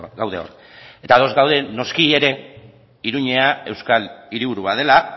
gaude hor eta ados gaude noski ere iruñea euskal hiriburua dela